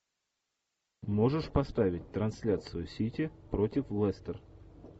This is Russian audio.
можешь поставить трансляцию сити против лестер